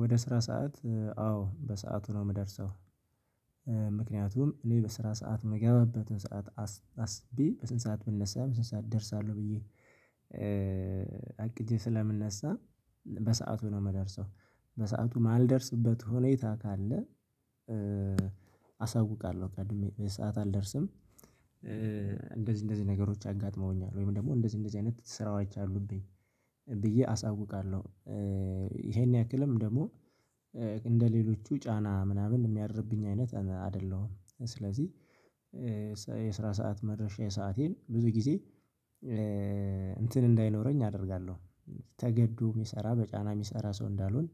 ወደ ስራ ሰዓት አዎ በሰአቱ ነው ምደርሰው ምክንያቱም እኔ በስራ ሰዓት ምገባበትን ስራ አስቤ በስንት ሰዓት ብነሳ በስንት ሰዓት እደርሳለሁ ብዬ አቅጄ ስለምነሳ በሰአቱ ነው ምደርሰው በሰአቱ ማልደርስበት ሁኔታ ካለ አሳውቃለሁ ቀድሜ ሰዓት አልደርስም እንደዚህ እንደዚህ ነገሮች አጋጥመውኛል ወይም ደግሞ እንደዚህ እንደዚህ አይነት ስራው አሉብኝ ብዬ አሳውቃለሁደ ይሄን ያክልም ደግሞ እንደሌሎቹ ጫና ምናምን የሚያድርብኝ አይነት አደለሁም ስለዚህ የስራ ሰዓት መድረሻዬ ሰአቴን ብዙ ጊዜ እንትን እንዳይኖረኝ አደርጋለሁ። ተገዶ የሚሰራ በጫና የሚሰራ ሰው እንዳልሆን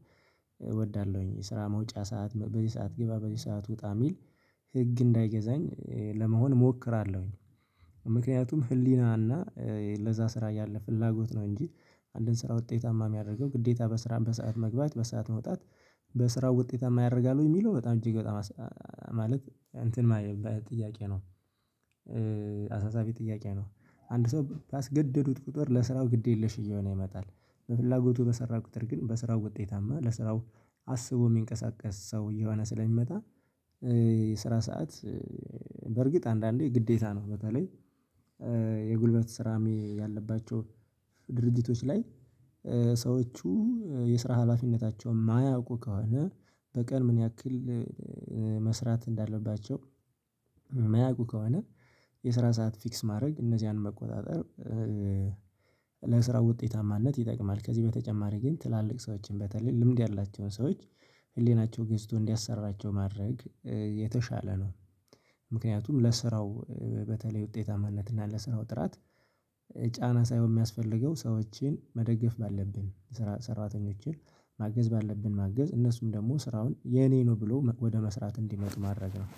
እወዳለሁኝ የስራ መውጫ ሰዓት በዚህ ሰዓት ግባ በዚህ ሰዓት ውጣ ሚል ህግ እንዳይገዛኝ ለመሆን እሞክራለሁኝ። ምክንያቱም ህሊናና ለዛ ስራ ያለ ፍላጎት ነው እንጂ አንድን ስራ ውጤታማ ሚያደርገው ግዴታ በስራም በሰአት መግባት በሰአት መውጣት በስራው ውጤታማ ያደርጋል ወይ ሚለው በጣም እጅግ በጣም ማለት እንትን ማየት ጥያቄ ነው አሳሳቢ ጥያቄ ነው አንድ ሰው ባስገደዱት ቁጥር ለስራው ግድ የለሽ እየሆነ ይመጣል በፍላጎቱ በሰራ ቁጥር ግን በስራው ውጤታማ ለስራው አስቦ የሚንቀሳቀስ ሰው እየሆነ ስለሚመጣ የስራ ሰዓት በርግጥ አንዳንዴ ግዴታ ነው በተለይ የጉልበት ስራም ያለባቸው ድርጅቶች ላይ ሰዎቹ የስራ ሀላፊነታቸውን ማያውቁ ከሆነ በቀን ምን ያክል መስራት እንዳለባቸው የሚያውቁ ከሆነ የስራ ሰዓት ፊክስ ማድረግ እነዚህን መቆጣጠር ለስራ ውጤታማነት ይጠቅማል ከዚህ በተጨማሪ ግን ትላልቅ ሰዎችን በተለይ ልምድ ያላቸውን ሰዎች ህሊናቸው ገዝቶ እንዲያሰራቸው ማድረግ የተሻለ ነው ምክንያቱም ለስራው በተለይ ውጤታማነት እና ለስራው ጥራት ጫና ሳይሆን የሚያስፈልገው ሰዎችን መደገፍ ባለብን ሰራተኞችን ማገዝ ባለብን ማገዝ እነሱም ደግሞ ስራውን የኔ ነው ብሎ ወደ መስራት እንዲመጡ ማድረግ ነው።